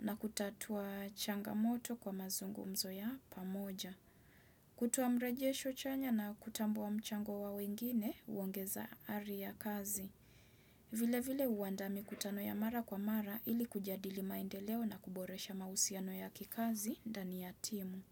na kutatua changamoto kwa mazungumzo ya pamoja. Kutoa mrejesho chanya na kutambua mchango wa wengine huongeza ari ya kazi. Vile vile huandaa mkutano ya mara kwa mara ili kujadili maendeleo na kuboresha mahusiano ya kikazi ndani ya timu.